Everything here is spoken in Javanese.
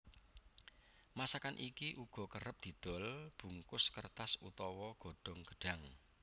Masakan iki uga kerep didol bungkus kertas utawa godhong gedhang